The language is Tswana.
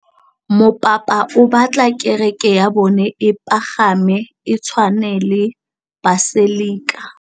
Mopapa o batla kereke ya bone e pagame, e tshwane le paselika.